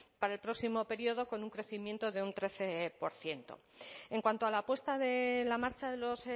para el próximo periodo con un crecimiento de un trece por ciento en cuanto a la apuesta de la marcha de los